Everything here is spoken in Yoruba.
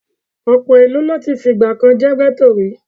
Ọ̀pọ̀ ìlú ló ti fìgbà kan jẹ́ gẹ́tò rí.